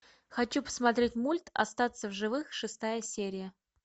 хочу посмотреть мульт остаться в живых шестая серия